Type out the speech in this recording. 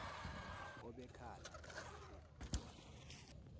obekhala ngabathe ngiyambuza